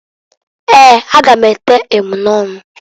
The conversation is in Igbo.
Eeǃ A ga m ete emunọnụ.